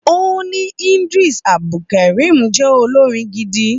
Ó ní Idris Abdulkareem jẹ́ olórin gidi